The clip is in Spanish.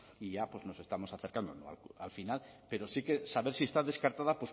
y ya pues nos estamos acercando al final pero sí que saber si está descartada